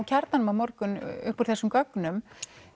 Kjarnanum á morgun upp úr þessum gögnum